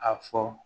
A fɔ